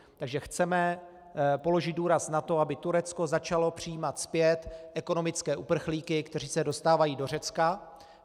Takže chceme položit důraz na to, aby Turecko začalo přijímat zpět ekonomické uprchlíky, kteří se dostávají do Řecka.